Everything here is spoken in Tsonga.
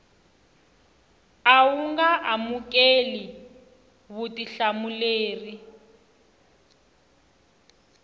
a wu nga amukeli vutihlamuleri